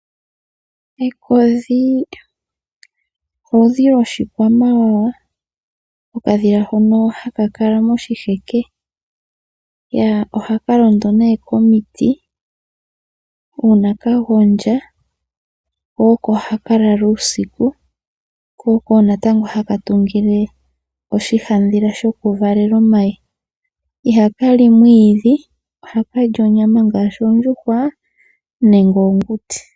Ekodhi oludhi lwoshikwamawawa, okadhila hono haka kala moshiheke. Ohaka londo komiti uuna ka gondja ko oko haka lala uusiku ko oko wo natango haka tungile oshihandhila shokuvalela omayi. Ihaka li mwiidhi, ohaka li onyama ngaashi oondjuhwa nenge oonguti.